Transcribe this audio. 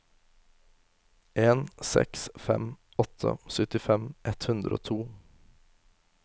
en seks fem åtte syttifem ett hundre og to